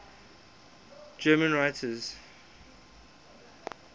german writers